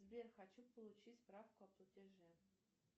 сбер хочу получить справку о платеже